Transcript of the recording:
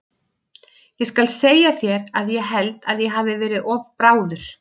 Ég skal segja þér að ég held að ég hafi verið of bráður.